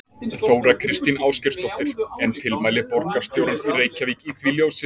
Þóra Kristín Ásgeirsdóttir: En tilmæli borgarstjórans í Reykjavík í því ljósi?